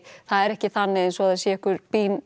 það er ekki þannig eins og það sé einhver